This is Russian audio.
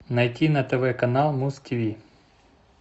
найти на тв канал муз тв